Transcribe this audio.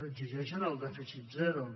exigeixen el dèficit zero